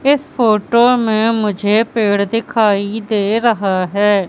इस फोटो में मुझे पेड़ दिखाई दे रहा है।